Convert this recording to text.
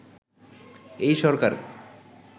এই সরকার